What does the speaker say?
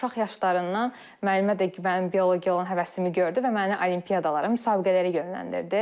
Uşaq yaşlarından müəllimə də, müəllim biologiyaya olan həvəsimi gördü və məni olimpiyadalara, müsabiqələrə yönləndirdi.